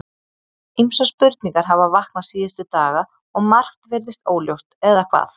Ýmsar spurningar hafa vaknað síðustu daga og margt virðist óljóst, eða hvað?